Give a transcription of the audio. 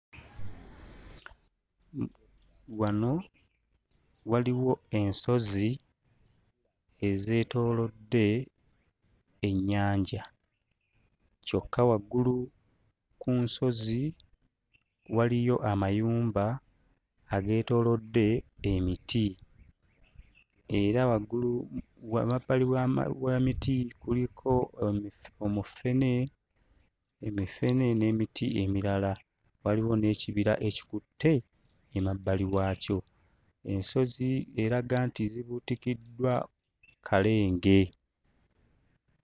Wano waliwo ensozi ezeetoolodde ennyanja kyokka waggulu ku nsozi waliyo amayumba ageetoolodde emiti era waggulu emabbali w'emiti kuliko omufene emifene n'emiti emirala; waliwo n'ekibira ekikutte emabbali waakyo. Ensozi eraga nti zibuutikiddwa kalenge.